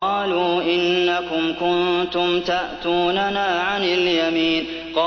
قَالُوا إِنَّكُمْ كُنتُمْ تَأْتُونَنَا عَنِ الْيَمِينِ